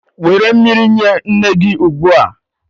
Were mmiri nye nne gị ugbu a.